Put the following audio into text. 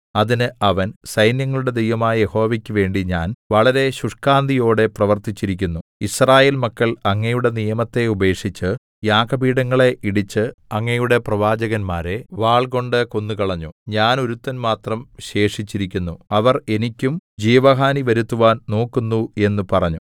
അതിന് അവൻ സൈന്യങ്ങളുടെ ദൈവമായ യഹോവയ്ക്ക് വേണ്ടി ഞാൻ വളരെ ശുഷ്കാന്തിയോടെ പ്രവൃത്തിച്ചിരിക്കുന്നു യിസ്രായേൽ മക്കൾ അങ്ങയുടെ നിയമത്തെ ഉപേക്ഷിച്ച് യാഗപീഠങ്ങളെ ഇടിച്ച് അങ്ങയുടെ പ്രവാചകന്മാരെ വാൾകൊണ്ട് കൊന്നുകളഞ്ഞു ഞാൻ ഒരുത്തൻ മാത്രം ശേഷിച്ചിരിക്കുന്നു അവർ എനിക്കും ജീവഹാനി വരുത്തുവാൻ നോക്കുന്നു എന്ന് പറഞ്ഞു